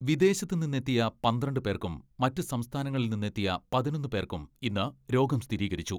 വിദേശത്ത് നിന്നെത്തിയ പന്ത്രണ്ട് പേർക്കും, മറ്റ് സംസ്ഥാനങ്ങളിൽ നിന്നെത്തിയ പതിനൊന്ന് പേർക്കും ഇന്ന് രോഗം സ്ഥിരീകരിച്ചു.